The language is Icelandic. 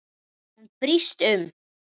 Hún brýst um.